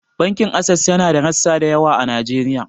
Bankin Ases yana da rassa da yawa a Najeriya.